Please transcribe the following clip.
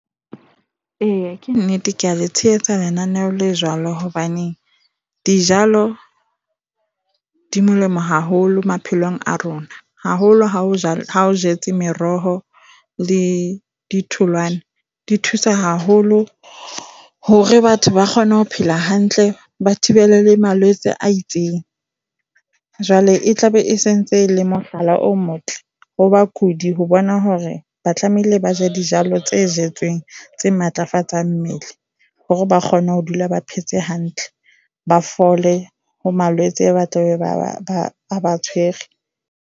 Eya, ke nnete. Kea le tshehetsa lenaneo le jwalo hobane dijalo di molemo haholo maphelong a rona. Haholo ha o jetse meroho le ditholwana. Di thusa haholo hore batho ba kgone ho phela hantle ba thibele le malwetse a itseng. Jwale e tlabe e se ntse e le mohlala o motle ho bakudi ho bona hore ba tlamehile hore ba je dijalo tse jetsweng tse matlafatsang mmele hore ba kgone ho dula ba phetse hantle, ba fole ho malwetse a tlabe a ba tshwere.